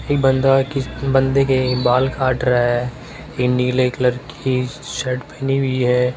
एक बंदा किस बंदे के बाल काट रहा है ये नीले कलर कि शर्ट पहनी हुई है।